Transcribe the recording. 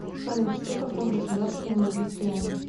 салют что такое государственные крестьяне